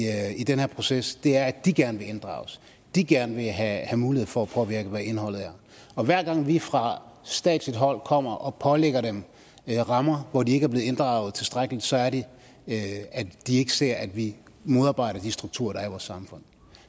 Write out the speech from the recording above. i den her proces er at de gerne vil inddrages og de gerne vil have mulighed for at påvirke hvad indholdet er og hver gang vi fra statsligt hold kommer og pålægger dem rammer hvor de ikke er blevet inddraget tilstrækkeligt så er det at de ikke ser at vi modarbejder de strukturer der er i vores samfund